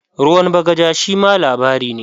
"Ruwan bagaja" shima labari ne.